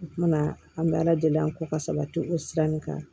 U tuma na an bɛ ala deli an kɔ ka sabati o sira nin kan